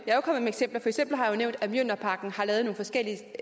eksempler har jeg nævnt at mjølnerparken har lavet nogle forskellige